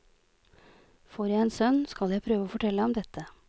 Får jeg en sønn, skal jeg prøve å fortelle ham dette.